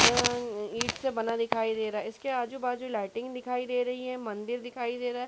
अ- ईंट से बना दिखाई दे रहा है। इसके आजु बाजु लाइटिंग दिखाई दे रही है मंदिर दिखाई दे रहा हैं।